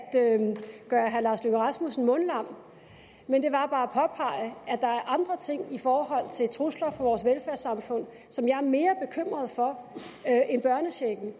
gøre herre lars løkke rasmussen mundlam men det var bare at påpege at der er andre ting i forhold til trusler vores velfærdssamfund som jeg er mere bekymret for end børnechecken